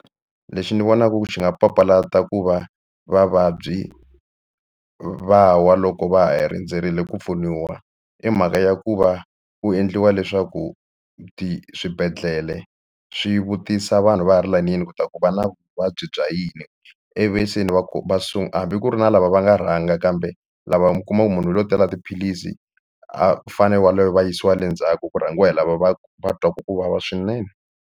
Lexi ni vonako ku xi nga papalata ku va vavabyi va wa loko va ha rindzerile ku pfuniwa i mhaka ya ku va ku endliwa leswaku swibedhlele swi vutisa vanhu va ha ri layinini ku ta ku va na vuvabyi bya yini ivi se ni va ku va hambi ku ri na lava va nga rhanga kambe lava mi kuma ku munhu hi yo tala tiphilisi a fanele waloye va yisiwa le ndzhaku ku rhangiwa hi lava va ku va twa ku vava swinene.